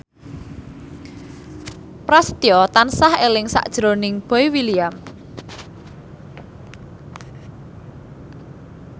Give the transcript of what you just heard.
Prasetyo tansah eling sakjroning Boy William